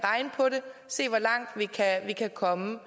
se hvor langt vi kan komme